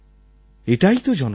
এটাই তো জনশক্তি